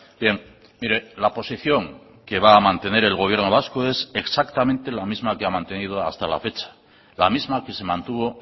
bien mire la posición que va a mantener el gobierno vasco es exactamente la misma que ha mantenido hasta la fecha la misma que se mantuvo